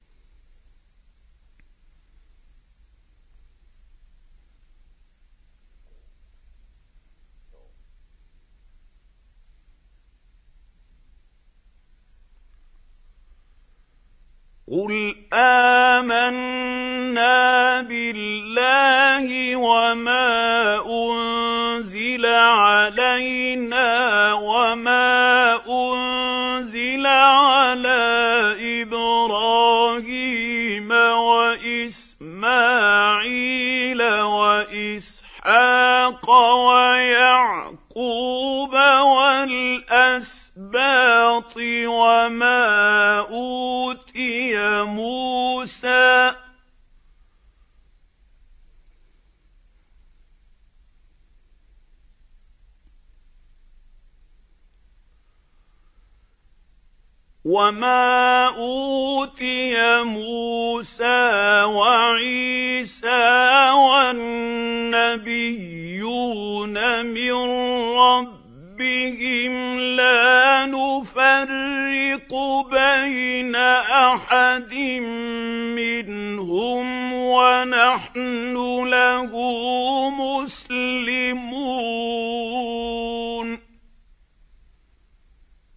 قُلْ آمَنَّا بِاللَّهِ وَمَا أُنزِلَ عَلَيْنَا وَمَا أُنزِلَ عَلَىٰ إِبْرَاهِيمَ وَإِسْمَاعِيلَ وَإِسْحَاقَ وَيَعْقُوبَ وَالْأَسْبَاطِ وَمَا أُوتِيَ مُوسَىٰ وَعِيسَىٰ وَالنَّبِيُّونَ مِن رَّبِّهِمْ لَا نُفَرِّقُ بَيْنَ أَحَدٍ مِّنْهُمْ وَنَحْنُ لَهُ مُسْلِمُونَ